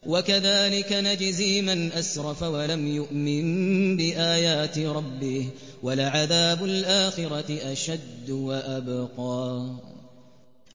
وَكَذَٰلِكَ نَجْزِي مَنْ أَسْرَفَ وَلَمْ يُؤْمِن بِآيَاتِ رَبِّهِ ۚ وَلَعَذَابُ الْآخِرَةِ أَشَدُّ وَأَبْقَىٰ